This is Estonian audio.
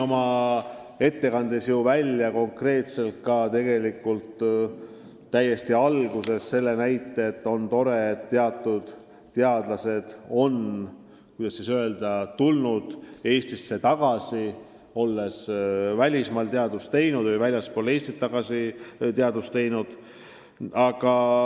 Oma ettekande alguses ma ütlesin, et on tore, et osa teadlasi on tulnud Eestisse tagasi, olles välismaal teadust teinud.